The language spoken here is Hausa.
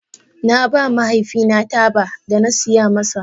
Na ba mahaifina taba da na saya masa.